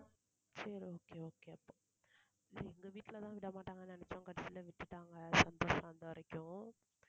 சரி okay okay அப்போ எங்க வீட்டுல தான் விடமாட்டாங்கன்னு நினச்சோம் கடைசியில விட்டுட்டாங்க, சந்தோஷம் தான் வந்த வரைக்கும்.